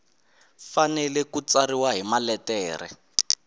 fanele ku tsariwa hi maletere